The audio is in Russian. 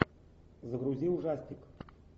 загрузи ужастик